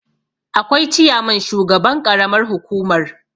akwai ciyaman shugaban ƙaramar hukumar